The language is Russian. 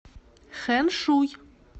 хэншуй